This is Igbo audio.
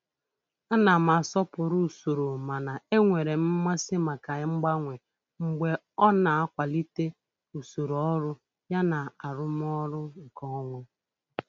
Ana m asọpụrụ usoro mana enwere m mmasị maka mgbanwe mgbe ọ na-akwalite usoro ọrụ yana arụmọrụ nkeonwe.